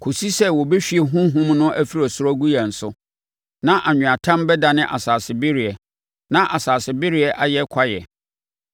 kɔsi sɛ wɔbɛhwie Honhom no afiri ɔsoro agu yɛn so, na anweatam bɛdane asase bereɛ na asase bereɛ ayɛ sɛ kwaeɛ.